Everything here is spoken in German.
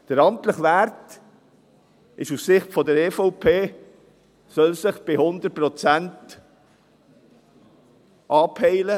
Der amtliche Wert soll aus der Sicht der EVP 100 Prozent anpeilen.